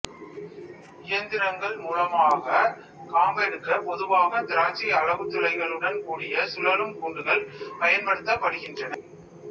இயந்திரங்கள் மூலமாக காம்பெடுக்க பொதுவாக திராட்சை அளவு துளைகளுடன் கூடிய சுழலும் கூண்டுகள் பயன்படுத்தப்படுகின்றன